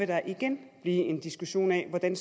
der igen blive en diskussion af hvordan